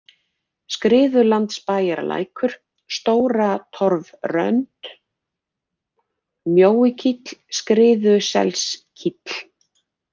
Skriðulandsbæjarlækur, Stóratorfrönd, Mjóikíll, Skriðuselskíll